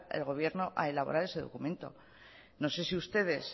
el gobierno a elaborar ese documento no sé si ustedes